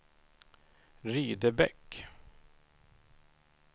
Rydebäck